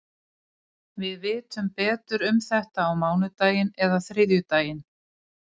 Við vitum betur um þetta á mánudaginn eða þriðjudaginn.